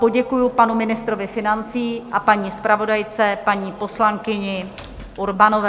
Poděkuji panu ministrovi financí a paní zpravodajce, paní poslankyni Urbanové.